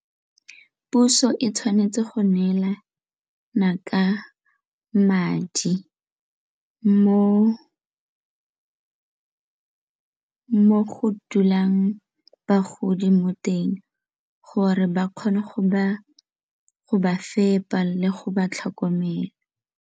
Puso e tshwanetse go neelana ka madi mo go dulang bagodi mo teng gore ba kgone go ba fepa le go ba tlhokomela.